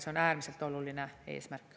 See on äärmiselt oluline eesmärk.